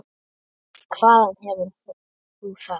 Hvaðan hefur þú það?